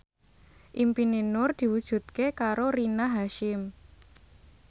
impine Nur diwujudke karo Rina Hasyim